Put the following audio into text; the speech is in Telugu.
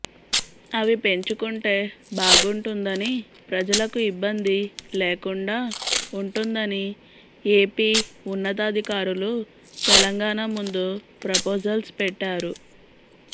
అవి పెంచుకుంటే బాగుంటుందని ప్రజలకు ఇబ్బంది లేకుండా ఉంటుందని ఏపీ ఉన్నతాధికారులు తెలంగాణ ముందు ప్రపోజల్స్ పెట్టారు